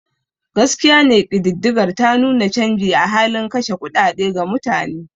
Gaskiya ne kididdigar ta nuna canji a halin kashe kuɗaɗe ga mutane.